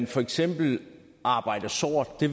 for eksempel arbejder sort det